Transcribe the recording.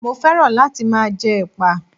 Mo féràn láti máa jẹ Ẹ̀pà.